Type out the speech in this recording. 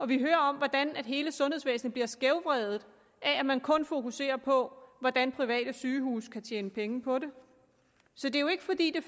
vi hører om hvordan hele sundhedsvæsenet bliver skævvredet af at man kun fokuserer på hvordan private sygehuse kan tjene penge på det så det er jo ikke fordi det